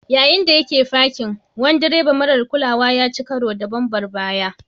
Yayin da yake fakin, wani direba marar kulawa ya ci karo da bambar baya.